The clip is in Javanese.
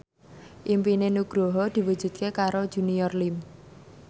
impine Nugroho diwujudke karo Junior Liem